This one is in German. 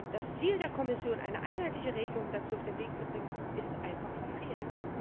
Das Ziel der Kommission, eine einheitliche Regelung dazu auf den Weg zu bringen, ist einfach verfehlt.